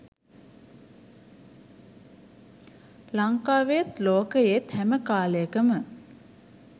ලංකාවේත් ලෝකයේත් හැම කාලයකම